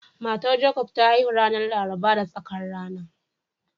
Matar Jacobs ta haihu ranar Laraba da tsakar rana